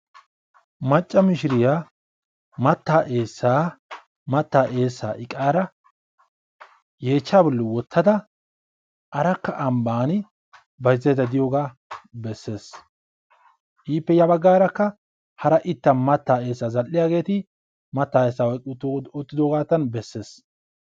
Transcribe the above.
Macca mishiriya mattaa eessaa mattaa eessaa iqaara yeechchaa bolli wottada arakka ambbaani bayzzaydda diyogaa besses. Ippe ya baggaarakka hara ittan mattaa eessaa zall'iyageeti mattaa eessaa oyqqi uttidoogaattan bessees.